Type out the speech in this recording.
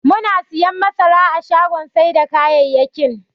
Muna siyan masara a shagon sai da kayayyakin.